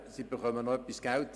Sie erhalten noch etwas Geld.